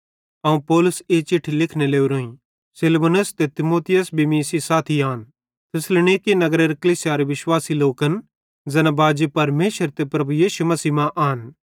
अवं पौलुस ई चिट्ठी लिखने लोरोईं सिलवानुस ते तीमुथियुस भी मीं सेइं साथी आन थिस्सलुनीकि नगरेरे कलीसियारे विश्वासी लोकन ज़ैना बाजी परमेशर ते प्रभु यीशु मसीह मां आन